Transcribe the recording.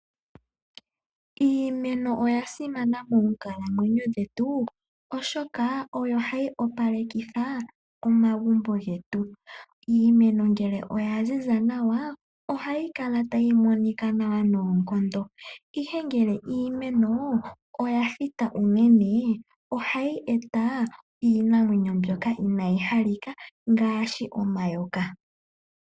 Iimeno oya simana moonkalamweyo dhetu oshoka oyo hayi opalekitha omagumbo getu, iimeno mgele oya ziza nawa ohayi kala tayi monika nawa noonkondo. Ihe ngele iimeno oya thita unene ohayi eta iinamwenyo mbyoka inayi halika ngaashi omayoka.